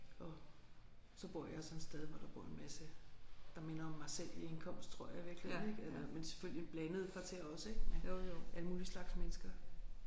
Og så bor jeg sådan et sted hvor der bor en masse der minder om mig selv i indkomst tror jeg i virkeligheden ik eller men selvfølgelig et blandet kvarter også ik med alle mulige slags mennesker